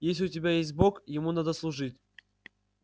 если у тебя есть бог ему надо служить